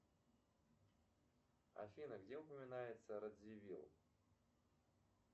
афина где упоминается радзивилл